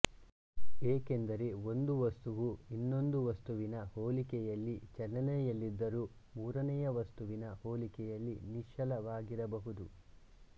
ಏಕೆಂದರೆ ಒಂದು ವಸ್ತುವು ಇನ್ನೊಂದು ವಸ್ತುವಿನ ಹೋಲಿಕೆಯಲ್ಲಿ ಚಲನೆಯಲ್ಲಿದ್ದರೂ ಮೂರನೆಯ ವಸ್ತುವಿನ ಹೋಲಿಕೆಯಲ್ಲಿ ನಿಶ್ಚಲ ವಾಗಿರಬಹುದು